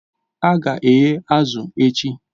A ga-eghe azụ̀ echi